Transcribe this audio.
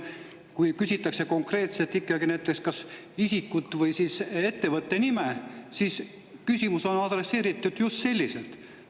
Kui küsitakse konkreetselt ikkagi näiteks kas isikut või siis ettevõtte nime, siis küsimus on adresseeritud just selliselt.